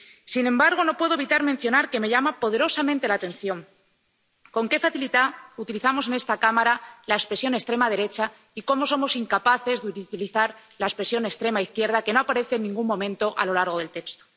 Sin embargo, no puedo evitar mencionar que me llama poderosamente la atención con qué facilidad utilizamos en esta Cámara la expresión extrema derecha y cómo somos incapaces de utilizar la expresión extrema izquierda, que no aparece en ningún momento a lo largo del texto.